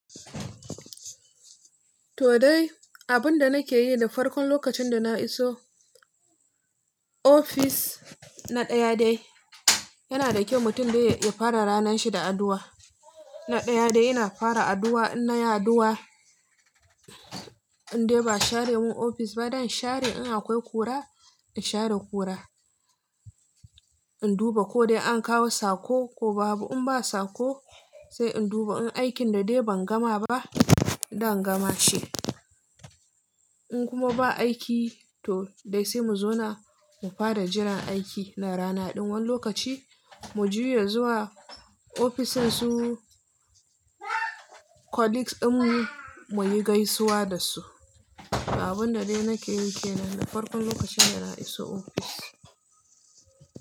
To dai, abin da nake yi da farkon lokacin da na iso ofis na ɗaya dai yana da kyau mutum dai ya fara ranar shi da addu'a. Na ɗaya dai ina fara addu'a, in na yi addu'a in dai ba'a share mun ofis ba, da in share in akwai kura in share kura, in duba ko dai an kawo sako ko babu, in ba sako sai in duba in aikin da dai ban gama ba da in gama ce. In kuma ba aiki to dai sai mu zauna mu fara jiran aiki na rana ɗin. Wani lokaci mu juya zuwa ofishinsu colleagues ɗinmu muyi gaisuwa da su. Abun da dai nake yi ke nan da farkon lokacin da na iso ofis.